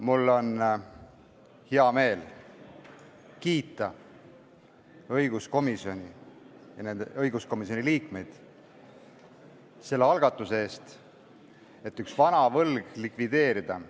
Mul on hea meel kiita õiguskomisjoni, st õiguskomisjoni liikmeid selle algatuse eest, millega üks vana võlg likvideeritakse.